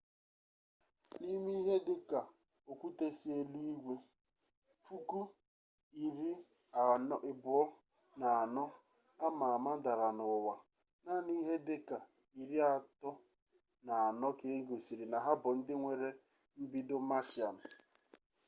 n'ime ihe dị ka okwute si eluigwe 24,000 ama ama dara na ụwa naanị ihe dị ka 34 ka egosiri na ha bụ ndị nwere mbido martian